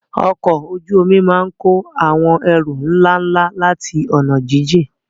Ọkọ̀ ojú omi máa ń kó àwọn ẹrù ńlá ńlá láti ọ̀nà jíjìn.